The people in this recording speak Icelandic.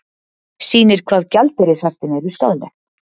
Sýnir hvað gjaldeyrishöftin eru skaðleg